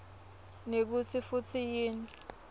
nekutsi futsi yini